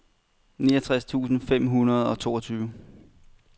niogtres tusind fem hundrede og toogtyve